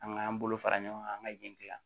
An k'an bolo fara ɲɔgɔn kan an ka jɛntigɛ